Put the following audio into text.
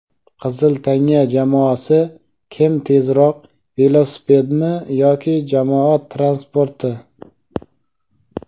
"Qizil tanga" jamoasi "Kim tezroq: velosipedmi yoki jamoat transporti?"